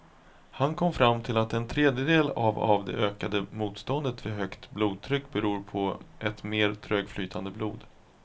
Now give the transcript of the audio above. Han kom fram till att en tredjedel av av det ökade motståndet vid högt blodtryck beror på ett mer trögflytande blod.